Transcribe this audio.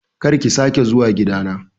Kar ki sake zuwa gida na